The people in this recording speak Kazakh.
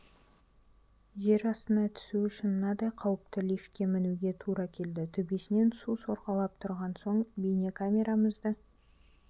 жер астына түсу үшін мынадай қауіпті лифтке мінуге тура келді төбесінен су сорғалап тұрған соң бейнекамерамызды